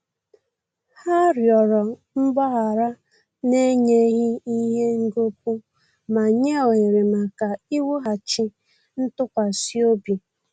Ha rịọrọ mgbaghara na-enyeghi ihe ngọpu ma nye ohere maka iwughachi ntụkwasịobi